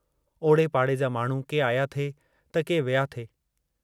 ओड़े पाड़े जा माण्हू के आया थे त के विया थे।